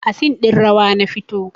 A scene ɗin rawa na fito